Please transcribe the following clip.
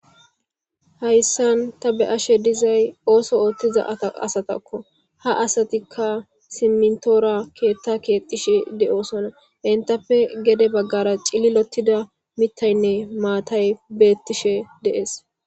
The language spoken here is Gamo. hayssan ta be ashe dizay ooso ooththiza asatakko ha asatikka simtoora keetta keexishe de7oosona entappe gede baggara cili lottida mitaynne maatay beettishe de'ees